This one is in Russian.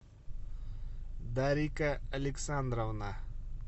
дарика александровна